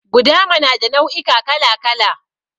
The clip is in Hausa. Gudama na da nau'ika kala kala.